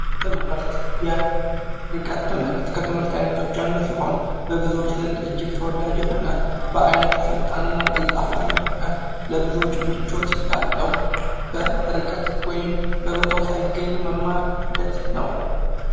ትምህርት የርቀት ትምህርት ከትምህርት ዓይነቶች አንዱ ሲሆን ፤ በብዙዎች ዘንድ እጅግ ተወዳጅ የሆነ በዓይነቱ ፈጣንና ቀልጣፋ የሆነ ለብዙዎች ምቾት ያለው በርቀት ወይም በቦታው ሳይገኙ መማር ሂደት ነው።